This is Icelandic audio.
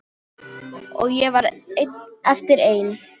Og ég varð eftir ein.